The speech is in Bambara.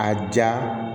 A ja